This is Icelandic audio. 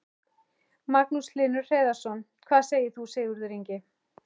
Magnús Hlynur Hreiðarsson: Hvað segir þú Sigurður Ingi?